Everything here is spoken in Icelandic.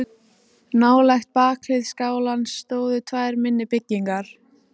Nálægt bakhlið skálans stóðu tvær minni byggingar.